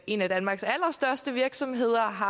en af danmarks allerstørste virksomheder har